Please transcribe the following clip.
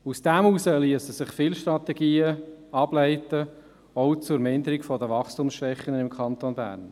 Daraus liessen sich viele Strategien ableiten, auch zur Verminderung der Wachstumsschwächen des Kantons Bern.